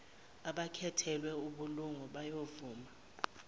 abakhethelwe ubulungu bayovuma